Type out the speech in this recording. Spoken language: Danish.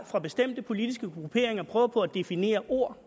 fra bestemte politiske grupperingers prøver på at definere ordene